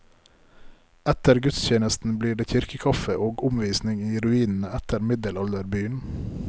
Etter gudstjenesten blir det kirkekaffe og omvisning i ruinene etter middelalderbyen.